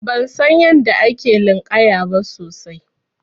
Ban san yadda ake linƙaya ba sosai.